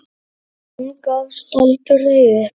Hún gafst aldrei upp.